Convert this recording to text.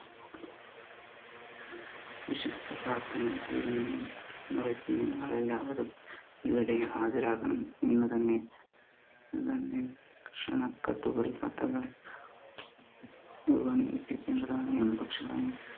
പ്രാർത്ഥന തീരുന്നു മുറയ്ക്ക് നിങ്ങളെല്ലാവരും ഇവിടെ ഹാജരാകണം ഇന്ന് തന്നെ ക്ഷണക്കത്തുകൾ എത്തിക്കേണ്ടതാണ്